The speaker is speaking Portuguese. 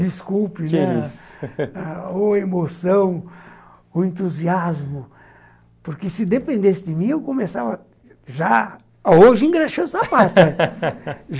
Desculpe, que isso, ou emoção, o entusiasmo, porque se dependesse de mim, eu começava já... Hoje engraxando o sapato